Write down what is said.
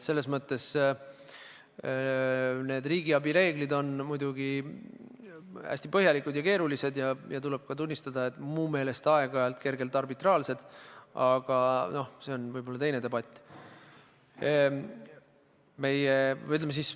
Riigiabi reeglid on muidugi hästi põhjalikud ja keerulised ja tuleb tunnistada, et mu meelest aeg-ajalt kergelt arbitraarsed, aga noh, see on võib-olla teise debati teema.